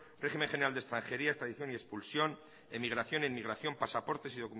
régimen general de extranjería extradición y expulsión emigración e inmigración pasaportes y